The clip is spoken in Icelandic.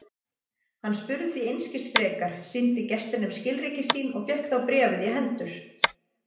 Hann spurði því einskis frekar, sýndi gestinum skilríki sín og fékk þá bréfið í hendur.